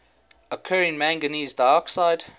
occurring manganese dioxide